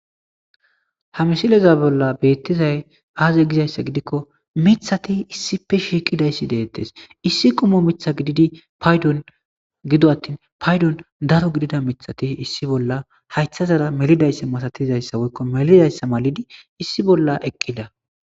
Ha misile, a bolla betizay aze gozaysa gidiko mithati issippe shiqidaysati deetes issi qommo Mitha giddidi paydo gido attin paydon daro gidida mithati issi bolla haythazara melidaysa masatiza woykoelidaysa malidi issi bolla eqida